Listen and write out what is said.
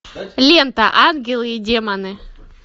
лента ангелы и демоны